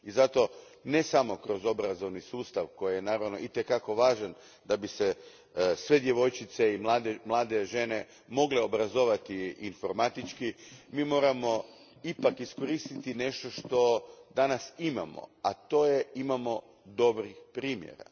I zato ne samo kroz obrazovni sustav koji je naravno itekako važan da bi se sve djevojčice i mlade žene mogle obrazovati informatički, mi moramo ipak iskoristiti nešto što danas imamo, a imamo dobrih primjera.